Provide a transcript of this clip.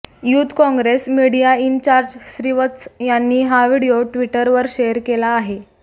youth Congress media in charge Srivatsa यांनी हा video ट्विटरवर शेअर केला आहे